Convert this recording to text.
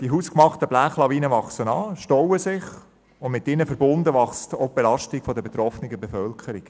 Die hausgemachten Blechlawinen wachsen an, stauen sich und mit ihnen verbunden wachsen auch die Belastungen der betroffenen Bevölkerung.